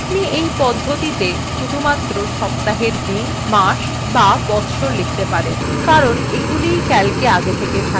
আপনি you পদ্ধতিতে শুধুমাত্র সপ্তাহের দিন মাস বা বচ্ছর লিখতে পারবেন কারণ এগুলিই calcএ আগে থেকে থাকে